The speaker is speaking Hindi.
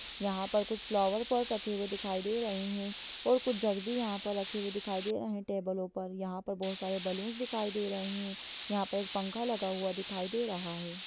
यहाँ पर कुछ फ्लॉवर पॉट रखे हुए दिखाई दे रहें हैं और कुछ जग भी यहाँ पर रखे हुए दिखाई दे रहें हैं टेबलों पर यहाँ पर बहुत सारे बैलूनस दिखाई दे रहें हैं यहाँ पर एक पंखा लगा हुआ दिखाई दे रहा है।